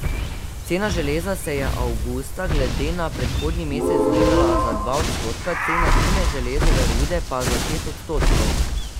Cena železa se je avgusta glede na predhodni mesec znižala za dva odstotka, cena fine železove rude pa za šest odstotkov.